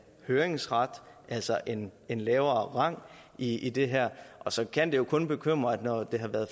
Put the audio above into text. høringsret altså en en lavere rang i det her og så kan det jo kun bekymre når det har været